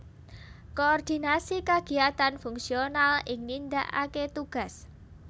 Koordinasi kagiyatan fungsional ing nindakaké tugas